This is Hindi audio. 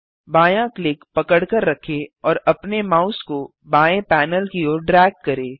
बायाँ क्लिक पकड़कर रखें और अपने माउस को बाएँ पैनल की ओर ड्रैग करें